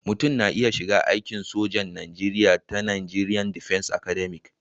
Mutum na iya shiga aikin sojan Najeriya ta Najeriya Defence Academic